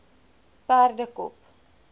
perdekop